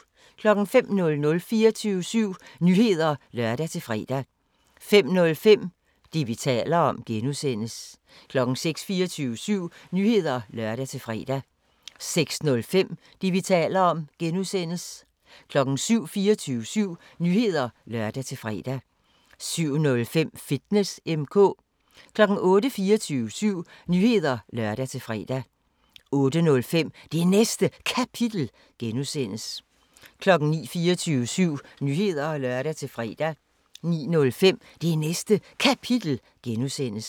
05:00: 24syv Nyheder (lør-fre) 05:05: Det, vi taler om (G) 06:00: 24syv Nyheder (lør-fre) 06:05: Det, vi taler om (G) 07:00: 24syv Nyheder (lør-fre) 07:05: Fitness M/K 08:00: 24syv Nyheder (lør-fre) 08:05: Det Næste Kapitel (G) 09:00: 24syv Nyheder (lør-fre) 09:05: Det Næste Kapitel (G)